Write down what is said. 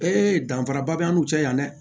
danfara ba b'an n'u cɛ yan dɛ